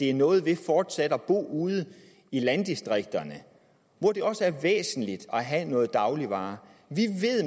er noget ved fortsat at bo ude i landdistrikterne hvor det også er væsentligt at have nogle dagligvarer